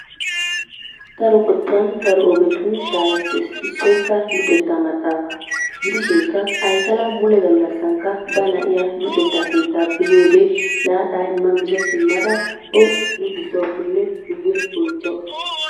Daro qottan daro ogetun shaahettees issoykka luxettaa maxaafa gidishinkka Aykala mule gallankka ba na'iya luxetta keettaappe yiyode laaxa imma miza simmada o luxxissawusunne guye oychchawusu.